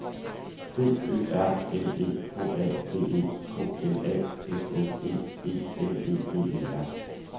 B Ø R N E H A V E K L A S S E E L E V E R